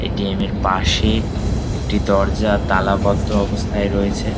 ATM -এর পাশে একটি দরজা তালাবদ্ধ অবস্থায় রয়েছে।